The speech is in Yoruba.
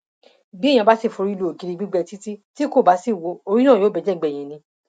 bí èèyàn bá sì forí lu ògiri gbígbẹ títí tí kò bá ṣíwọ orí náà yóò bẹjẹ gbẹyìn ni